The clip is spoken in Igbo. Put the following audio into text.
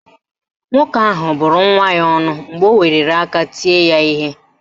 Nwoke ahụ bụrụ nwa ya ọnụ mgbe o weliri aka tie ya ihe